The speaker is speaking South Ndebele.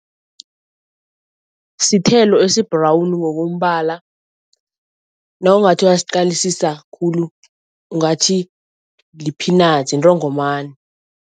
Sithelo esi-brown ngokombala, nawungathi uyasiqalisisa khulu ungathi li-peanut, intongomani.